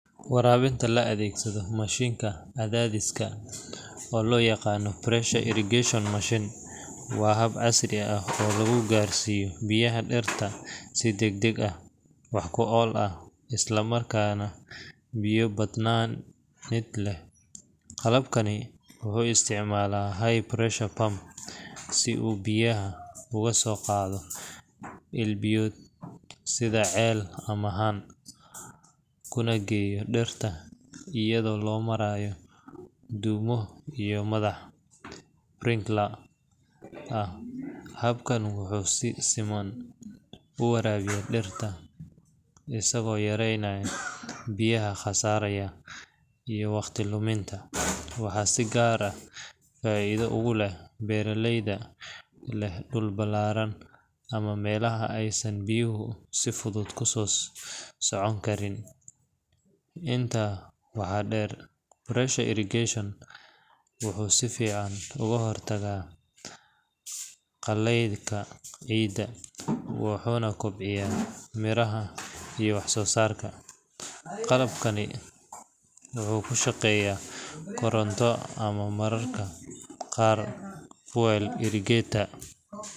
Waraabinta la adeegsado mashiinka cadaadiska, oo loo yaqaan pressure irrigation machine, waa hab casri ah oo lagu gaarsiiyo biyaha dhirta si degdeg ah, wax ku ool ah, isla markaana biyo-badbaadin leh. Qalabkani wuxuu isticmaalaa high pressure pump si uu biyaha uga soo qaado il biyood sida ceel ama haan, kuna geeyo dhirta iyadoo loo marayo dhuumo iyo madax sprinklers ah. Habkan wuxuu si siman u waraabiyaa dhirta, isagoo yareynaya biyaha khasaaraya iyo waqti luminta. Waxaa si gaar ah faa’iido ugu leh beeraleyda leh dhul ballaaran ama meelaha aysan biyuhu si fudud ku socon karin. Intaa waxaa dheer, pressure irrigation wuxuu si fiican uga hortagaa qallaylka ciidda, wuxuuna kobciyaa miraha iyo wax-soo-saarka. Qalabkani wuxuu ku shaqeeyaa koronto ama mararka qaar fuel generator,